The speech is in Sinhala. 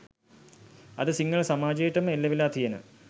අද සිංහල සමාජයටම එල්ලවෙලා තියෙන